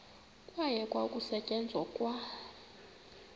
kwayekwa ukusetyenzwa kwa